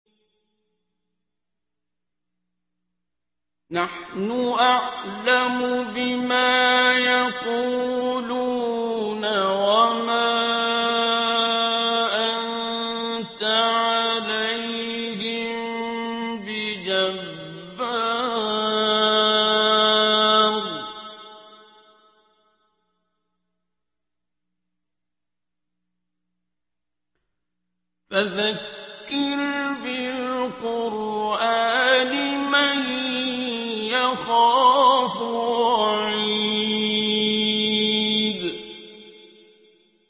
نَّحْنُ أَعْلَمُ بِمَا يَقُولُونَ ۖ وَمَا أَنتَ عَلَيْهِم بِجَبَّارٍ ۖ فَذَكِّرْ بِالْقُرْآنِ مَن يَخَافُ وَعِيدِ